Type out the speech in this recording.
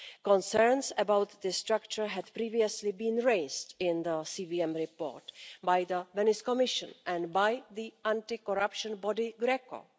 concerns about the structure had previously been raised in the CVM report by the Venice Commission and by the anti corruption body GRECO.